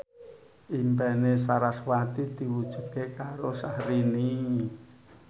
impine sarasvati diwujudke karo Syahrini